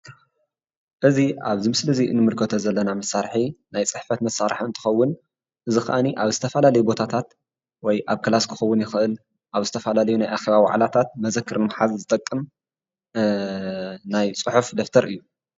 እዚ ኣብዚ ምስሊ እዚ ንምልከቶ ዘለና መሳርሒ ናይ ፅሕፈት መሳርሒ እንትኸውን እዚ ከዓኒ ኣብ ዝተፈላለዩ ቦታታት ወይ ኣብ ክላስ ክኸውን ይኽእል ኣብ ዝተፈላለዩ ናይ ኣኼባ ዋዕላታት መዘክር ንምሓዝ ዝጠቅም ናይ ፅሑፍ ደፍተር እዩ፡፡